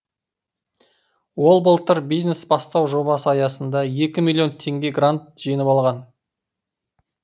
ол былтыр бизнес бастау жобасы аясында екі миллион теңге грант жеңіп алған